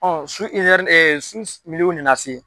Ɔn su , su na na se